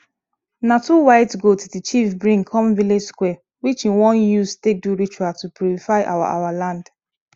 na two white goats the chief bring come village square which he wan use take do ritual to purify our our land